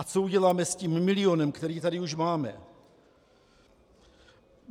A co uděláme s tím milionem, který tady už máme?